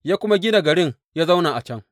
Ya kuma gina garin ya zauna a can.